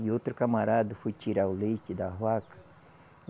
E outro camarada foi tirar o leite da vaca.